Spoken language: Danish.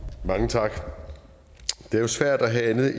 mange tak det er jo svært at have andet